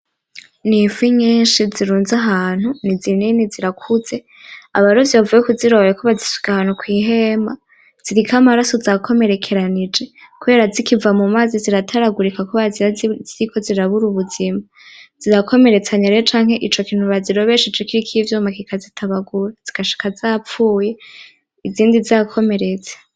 N'ifi nyinshi zirunze ahantu, ni zinini zirakuze, abarovyi bavuye kuziroba bariko bazisuka ahantu kw'ihema, ziriko amaraso zakomerekeranije kubera zikiva mu mazi zirataragurika kubera ziba ziriko zirabura ubuzima, zirakomeretsanya rero canke ico kintu bazirobesheje kiriko ivyuma kikazitabagura zigashika zapfuye izindi zakomeretse.